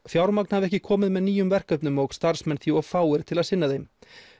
fjármagn hafi ekki komið með nýjum verkefnum og starfsmenn því of fáir til að sinna þeim